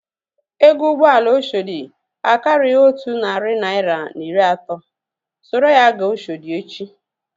Ego ụgbọala Oshodi akarighi otu narị naira na iri atọ. Soro ya gaa Oshodi echi!